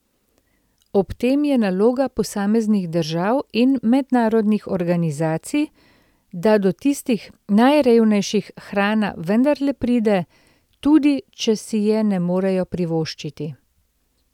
Ob tem je naloga posameznih držav in mednarodnih organizacij, da do tistih najrevnejših hrana vendarle pride, tudi, če si je ne morejo privoščiti.